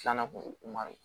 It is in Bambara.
Filanan ko ma